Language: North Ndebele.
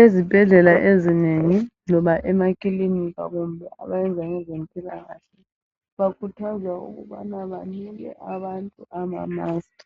Ezibhedlela ezinenfi loba emakilinika kumbe abayenza ngezempilakahle bakhuthaza ukuba banike abantu amamasiki